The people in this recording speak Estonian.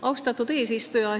Austatud eesistuja!